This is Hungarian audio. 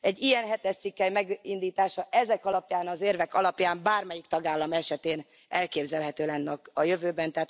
Egy ilyen hetes cikkely megindítása ezek alapján az érvek alapján bármelyik tagállam esetén elképzelhető lenne a jövőben.